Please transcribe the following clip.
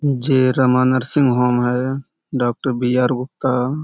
जे Rama nursing home है। Doctor B R. Gupta --